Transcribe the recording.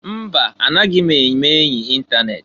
Mba! Anaghị m eme-enyi itanet.